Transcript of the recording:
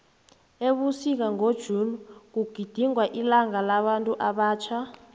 ebusika ngo june kugidingwa ilanga labantu abatjha